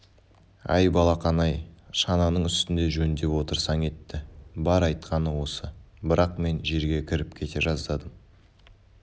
әй балақан-ай шананың үстінде жөндеп отырсаң етті бар айтқаны осы бірақ мен жерге кіріп кете жаздадым